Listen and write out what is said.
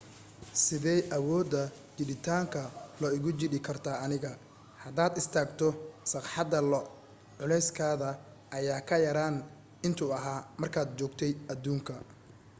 sidey awooda jiiditaanka io igu jiidi kartaa aniga hadaad istaagto sagxadda lo culeyskaada ayaa ka yeraan intuu ahaa markaad joogtay aduunka